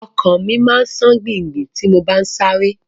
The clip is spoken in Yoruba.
Ọkàn mi máa ma ṣe gbì gbì gbì tí n bá sáré.